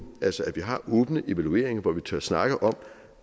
altså at vi har åbne evalueringer hvor vi tør snakke om